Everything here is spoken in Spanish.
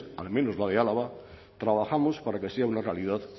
al menos la de álava trabajamos para que sea una realidad